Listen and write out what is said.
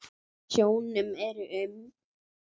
Í sjónum eru um